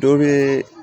Dɔ bɛ